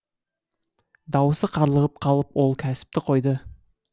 дауысы қарлығып қалып ол кәсіпті қойды